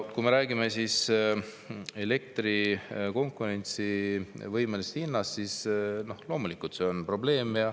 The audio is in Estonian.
Kui me räägime elektri konkurentsivõimelisest hinnast, siis loomulikult see on probleem.